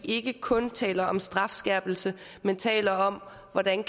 ikke kun taler om strafskærpelse men taler om hvordan